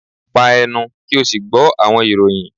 pa ẹnu! ki o si gbọ awọn iroyin